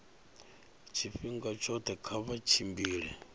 tshifhinga tshoṱhe kha vha tshimbile